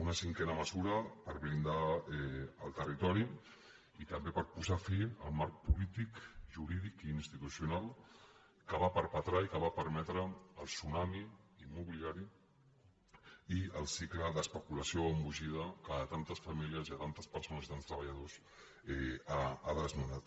una cinquena mesura per blindar el territori i també per posar fi al marc polític jurídic i institucional que va perpetrar i que va permetre el tsunami immobiliari i el cicle d’especulació embogida que a tantes famílies i a tantes persones i a tants treballadors ha desnonat